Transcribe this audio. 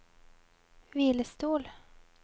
hvilestol